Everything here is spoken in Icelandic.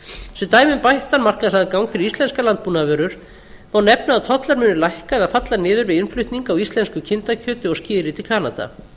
sem dæmi um bættan markaðsaðgang fyrir íslenskar landbúnaðarvörur má nefna að tollar munu lækka eða falla niður við innflutning á íslensku kindakjöti og skyri til kanada